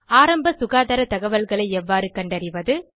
ஆரம்ப சுகாதார தகவல்களை எவ்வாறு கண்டறிவது